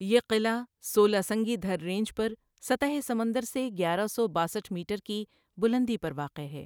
یہ قلعہ سولاسنگی دھر رینج پر سطح سمندر سے گیارہ سو باسٹھ میٹر کی بلندی پر واقع ہے۔